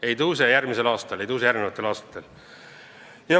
Ei kasva järgmisel aastal, ei kasva edaspidi.